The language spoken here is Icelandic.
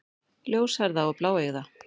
Ljóshærða og bláeygða.